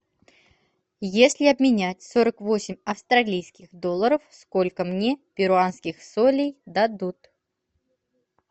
если обменять сорок восемь австралийских долларов сколько мне перуанских солей дадут